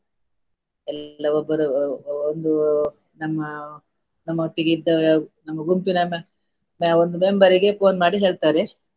ಎಲ್ಲಾ ಒಬ್ಬರು ಒಂದು ನಮ್ಮ ನಮ್ಮ ಒಟ್ಟಿಗೆ ಇದ್ದ ನಮ್ಮ ಗುಂಪಿನ ಒಂದು member ಇಗೆ phone ಮಾಡಿ ಹೇಳ್ತಾರೆ.